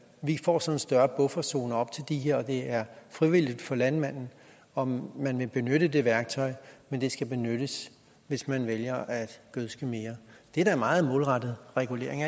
vi får så en større bufferzone op til det her og det er frivilligt for landmanden om man vil benytte det værktøj men det skal benyttes hvis man vælger at gødske mere det er da meget målrettet regulering